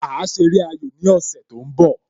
A ṣe eré ayò ní ọ̀sẹ̀ tó ń bọ